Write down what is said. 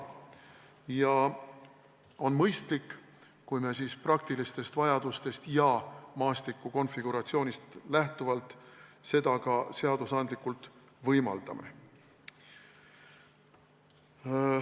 Ja on mõistlik, kui me praktilistest vajadustest ja maastiku konfiguratsioonist lähtuvalt seda ka seadusandlikult võimaldame.